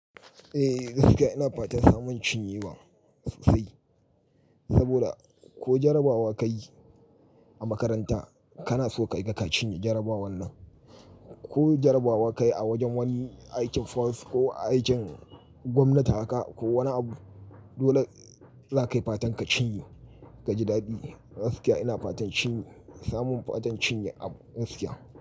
Eh gaskiya ina fatan samun cinyewa sosai. Saboda ko jarabawa ka yi a makaranta kana so ka ga ka cinye jarabawar nan. Ko jarabawa ka yi a wajen wani aikin force ko aikin gwamnati haka ko wani abu dole za ka yi fatan ka cinye ka ji daɗi. Gaskiya ina fatan cinye, samun fatan cinye a gaskiya.